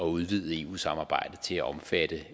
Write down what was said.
udvide eu samarbejdet til at omfatte